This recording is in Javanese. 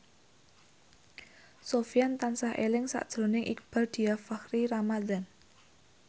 Sofyan tansah eling sakjroning Iqbaal Dhiafakhri Ramadhan